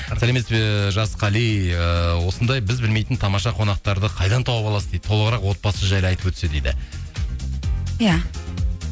сәлеметсіз бе жас қали ыыы осындай біз білмейтін тамаша қонақтарды қайдан тауып аласыз дейді толығырақ отбасы жайлы айтып өтсе дейді иә